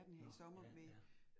Nåh ja, ja